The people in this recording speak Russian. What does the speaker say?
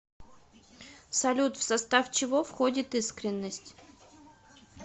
салют в состав чего входит искренность